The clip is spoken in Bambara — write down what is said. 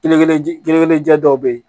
Kelen kelen jɛ kelen jɛ dɔ bɛ yen